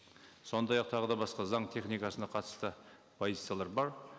сондай ақ тағы да басқа заң техникасына қатысты позициялар бар